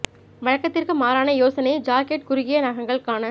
வழக்கத்திற்கு மாறான யோசனை ஜாக்கெட் குறுகிய நகங்கள் க்கான